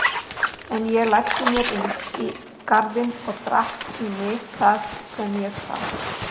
En ég læddi mér inn í garðinn og drakk í mig það sem ég sá.